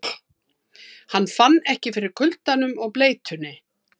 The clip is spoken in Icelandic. Hann fann ekki fyrir kuldanum og bleytunni.